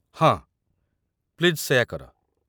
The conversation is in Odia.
ହଁ, ପ୍ଲିଜ୍ ସେଇଆ କର।